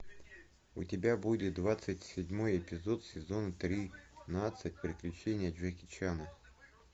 у тебя будет двадцать седьмой эпизод сезон тринадцать приключения джеки чана